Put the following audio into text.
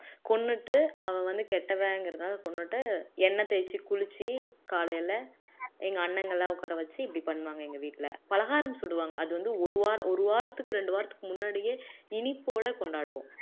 கொன்னுட்டு அவ வந்து கெட்டவங்கிறதுனால கொன்னுட்டு எண்ணெய் தேய்ச்சு குளிச்சு காலையில எங்க அண்ணங்க எல்லாம் உட்கார வச்சு இப்படி பண்ணுவாங்க எங்க வீட்டுல பலகாரம் சுடுவாங்க அது வந்து ஒரு வாரம் ஒரு வாரத்துக்கு ரெண்டு வாரத்துக்கு முன்னாடியே இனிப்போட கொண்டாடுவோம்